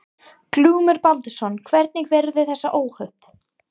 Glúmur Baldvinsson: Hvernig verða þessi óhöpp?